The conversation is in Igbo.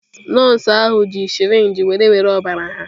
Nọọsụ ahụ ji sirinji were were ọbara ha.